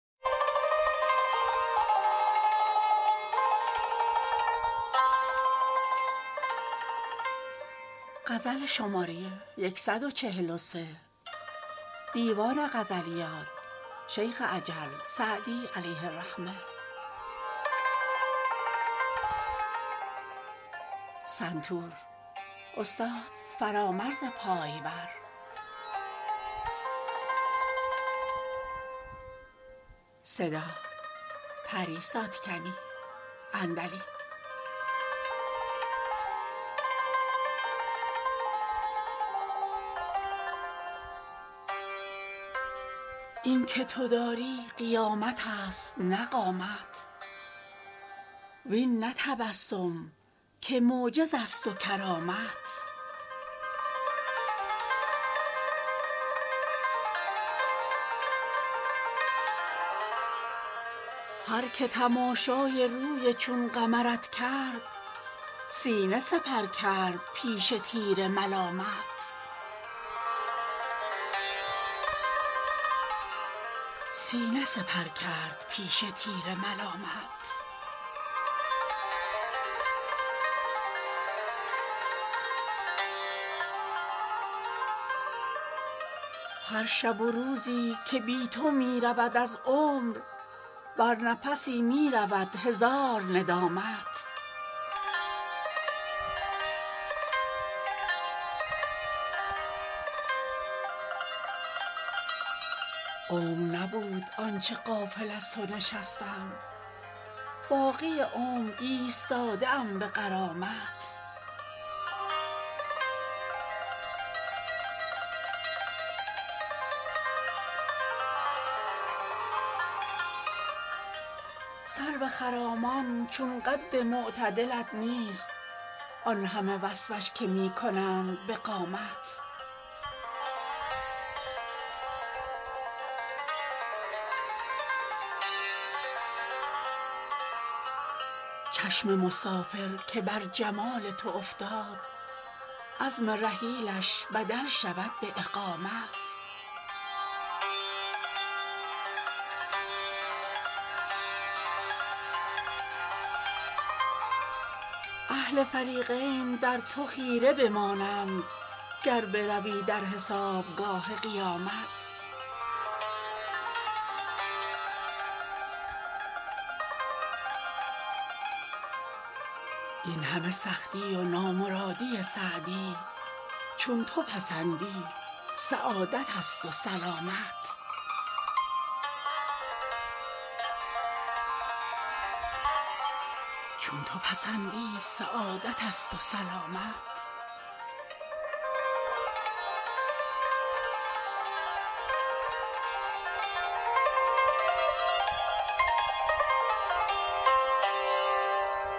این که تو داری قیامت است نه قامت وین نه تبسم که معجز است و کرامت هر که تماشای روی چون قمرت کرد سینه سپر کرد پیش تیر ملامت هر شب و روزی که بی تو می رود از عمر بر نفسی می رود هزار ندامت عمر نبود آن چه غافل از تو نشستم باقی عمر ایستاده ام به غرامت سرو خرامان چو قد معتدلت نیست آن همه وصفش که می کنند به قامت چشم مسافر که بر جمال تو افتاد عزم رحیلش بدل شود به اقامت اهل فریقین در تو خیره بمانند گر بروی در حسابگاه قیامت این همه سختی و نامرادی سعدی چون تو پسندی سعادت است و سلامت